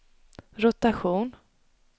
rotation